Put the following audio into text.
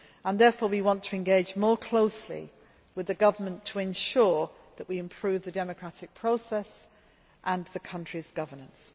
Therefore, we want to engage more closely with the government to ensure that we improve the democratic process and the country's governance.